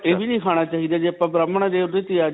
ਇਹ ਵੀ ਨਹੀਂ ਖਾਣਾ ਚਾਹਿਦਾ ਜੇ ਆਪਾਂ ਬ੍ਰਾਹਮਣ ਹਾਂ ਜੇ ਓਹਦੇ 'ਚ .